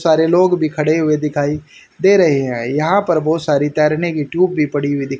सारे लोग भी खड़े हुए दिखाई दे रहे हैं। यहां पर बहुत सारी तैरने की ट्यूब भी पड़ी हुई दी--